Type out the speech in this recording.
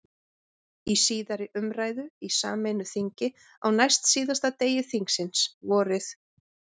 Í síðari umræðu í sameinu þingi, á næstsíðasta degi þingsins, vorið